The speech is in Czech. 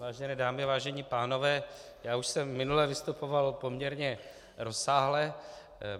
Vážené dámy, vážení pánové, já už jsem minule vystupoval poměrně rozsáhle.